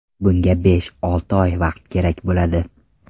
Bunga besh-olti oy vaqt kerak bo‘ladi.